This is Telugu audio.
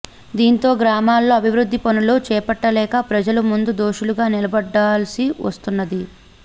దీంతో గ్రామాల్లో అభివృద్ధి పనులు చేపట్టలేక ప్రజల ముందు దోషులుగా నిలబడాల్సి వస్తున్నది